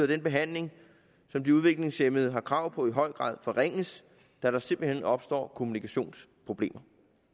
den behandling som de udviklingshæmmede har krav på i høj grad forringes da der simpelt hen opstår kommunikationsproblemer